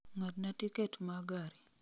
ng'adna tiket ma gari